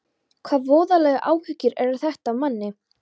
Hvaða voðalegar áhyggjur eru þetta af manni!